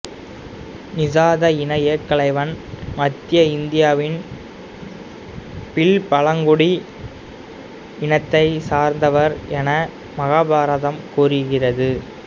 நிசாத இன ஏகலைவன் மத்திய இந்தியாவின் பில் பழங்குடி இனத்தைச் சார்ந்தவர் என மகாபாரதம் கூறுகிறது